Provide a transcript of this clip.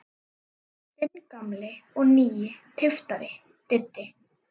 Þinn gamli og nýi tyftari, Diddi.